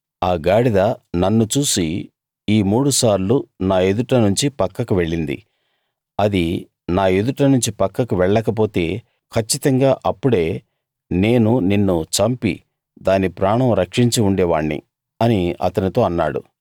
ఆ గాడిద నన్ను చూసి ఈ మూడుసార్లు నా ఎదుట నుంచి పక్కకు వెళ్ళింది అది నా ఎదుట నుంచి పక్కకు వెళ్ళకపోతే కచ్చితంగా అప్పుడే నేను నిన్ను చంపి దాని ప్రాణం రక్షించి ఉండేవాణ్ణి అని అతనితో అన్నాడు